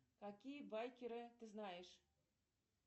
какие байкеры ты знаешь